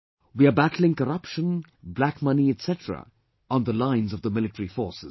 We are battling corruption, black money etc on the lines of Military Forces